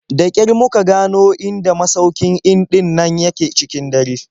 Da ƙyar muka gano inda masaukin in ɗin nan yake cikin dare.